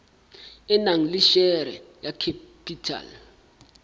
e nang le share capital